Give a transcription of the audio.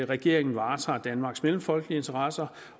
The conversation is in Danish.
regeringen varetager danmarks mellemfolkelige interesser